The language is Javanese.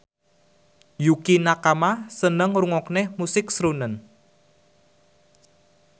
Yukie Nakama seneng ngrungokne musik srunen